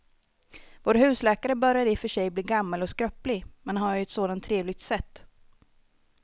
Vår husläkare börjar i och för sig bli gammal och skröplig, men han har ju ett sådant trevligt sätt!